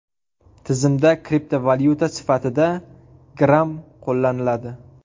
Tizimda kriptovalyuta sifatida Gram qo‘llaniladi.